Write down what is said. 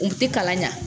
U ti kalan ɲa